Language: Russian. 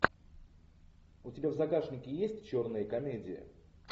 у тебя в загашнике есть черные комедии